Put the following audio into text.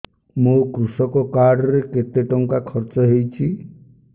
ମୋ କୃଷକ କାର୍ଡ ରେ କେତେ ଟଙ୍କା ଖର୍ଚ୍ଚ ହେଇଚି